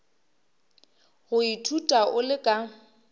go ithuta o le ka